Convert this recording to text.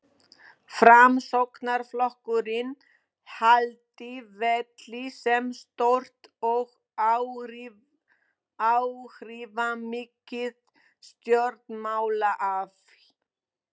Framsóknarflokkurinn haldi velli sem stórt og áhrifamikið stjórnmálaafl.